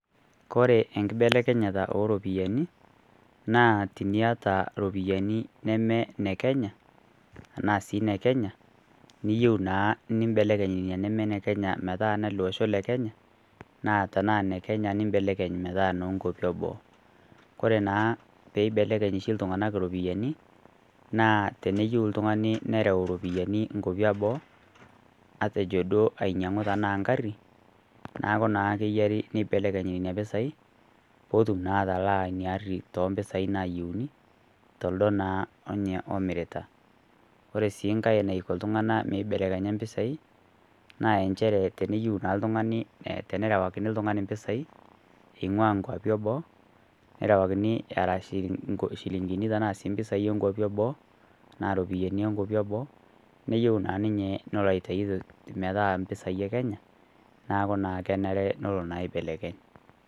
Kore enkibelekenyeta ooropiyani naa teniata iropiyani neme ne Kenya anaa si ne Kenya niyieu naa nimbelekeny nina neme nolosho le Kenya naa tenaa ne Kenya niyieu nimbelekeny metaa noo nkuapi eboo. Kore naa pee eibelekeny oshi iltung'anak iropiyani naa teneyieu oltung'ani nereu iropiyani nkuapi eboo matejo duo ainyiang'u tenaa engarri neaku naa keyiari nibelekeny nena pisai pee etum naa atalaa ina arri too mpisai nayieuni tildo naa openy omirita. Ore si nkae naisho iltung'anak mibelekenya impisai naa nchere teneyieu naa oltung'ani nerewakini oltung'ani impisai ing'ua nkuapi eboo nerewakini ishirinini ashuu impisai onkuapi eboo naa iropiyani oo nkuapi eboo neyieu naa ninye nelo aitayu mee taa impisai ee Kenya neaku kenare teneloo aibelekeny.